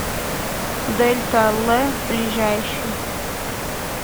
дельта л ближайший